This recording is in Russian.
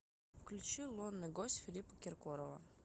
включи лунный гость филиппа киркорова